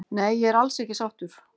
Nei ég er alls ekki sáttur